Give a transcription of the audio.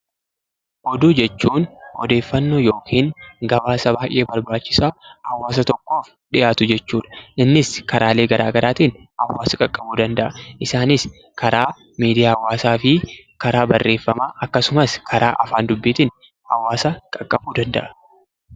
Oduu jechuun odeeffaannoo yookiin gabaasa baay'ee barbaachisaa hawaasa tokkoof dhiyaatu jechuu dha. Innis karaalee garaagaraatiin hawaasa qaqqabuu danda'a. Isaanis, karaa miidiyaa hawaasaa fi karaa barreeffamaa akkasumas karaa afaan dubbiitiin hawaasa qaqqabuu danda'a.